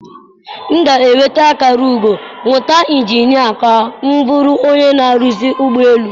M ga-enweta akara ugo mmụta injinia ka m bụrụ onye na-arụzi ụgbọ elu.